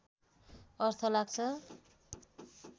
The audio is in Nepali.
अर्थ लाग्छ